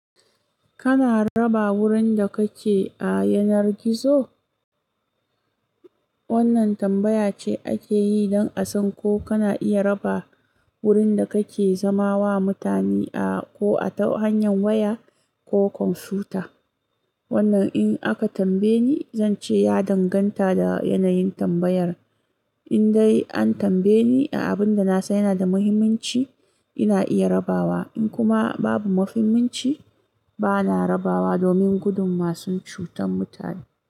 Kana raba wurin da kake a yanar gizo? Wannan tambaya ce ake yi don a san ko kana iya raba wurin da kake zama wa mutane a ko ta hanyar waya ko kwamfuta. Wannan in aka tambaye ni, zan ce ya danganta da yanayin tambayar. In dai an tambaye ni a abin da na san yana da muhimmanci, ina iya rabawa. In kuma babu mafimmanci, bana rabawa domin gudun masu cutar mutane.